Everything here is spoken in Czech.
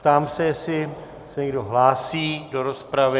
Ptám se, zdali se někdo hlásí do rozpravy.